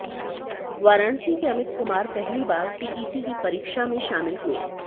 वाराणसी के अमित कुमार पहली बार टीईटी की परीक्षा में शामिल हुए